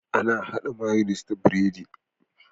Ana hada mayonnaise da biredi